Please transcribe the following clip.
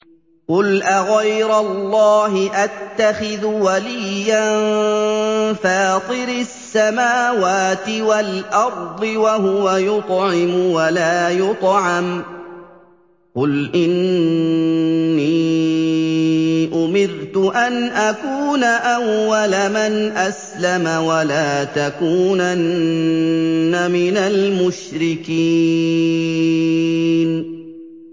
قُلْ أَغَيْرَ اللَّهِ أَتَّخِذُ وَلِيًّا فَاطِرِ السَّمَاوَاتِ وَالْأَرْضِ وَهُوَ يُطْعِمُ وَلَا يُطْعَمُ ۗ قُلْ إِنِّي أُمِرْتُ أَنْ أَكُونَ أَوَّلَ مَنْ أَسْلَمَ ۖ وَلَا تَكُونَنَّ مِنَ الْمُشْرِكِينَ